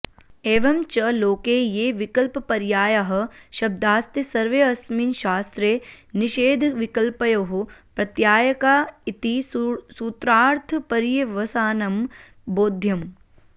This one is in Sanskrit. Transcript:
एवं च लोके ये विकल्पपर्यायाः शब्दास्ते सर्वेऽस्मिन् शास्त्रे निषेधविकल्पयोः प्रत्यायका इति सूत्रार्थपर्यवसानं बोध्यम्